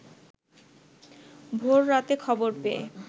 ভোর রাতে খবর পেয়ে